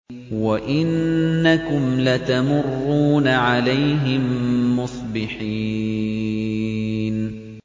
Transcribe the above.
وَإِنَّكُمْ لَتَمُرُّونَ عَلَيْهِم مُّصْبِحِينَ